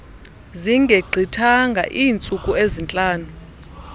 zingegqithanga iintsuku ezintlanu